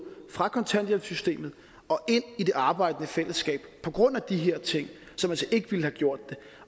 fra kontanthjælpssystemet og ind i det arbejdende fællesskab på grund af de her ting som altså ikke ville have gjort det